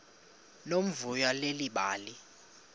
nomvuyo leli bali